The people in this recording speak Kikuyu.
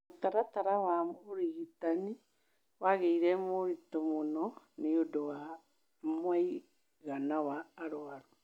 Mũtaratara wa ũrigitani wagĩire mũritũ mũno nĩ ũndũ wa mũigana wa arũaru.